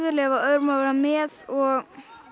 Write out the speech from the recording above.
leyfa öðrum að vera með og